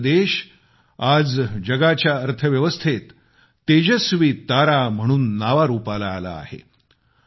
भारत देश आज जगाच्या अर्थव्यवस्थेत तेजस्वी तारा म्हणून नावारूपाला आला आहे